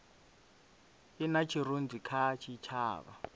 i na tshirunzi kha tshitshavha